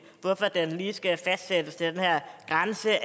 hvorfor der lige skal sættes en grænse